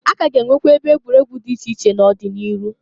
A ka a ga enwekwa ebe egwuregwu di iche iche n'ọdị n'iru.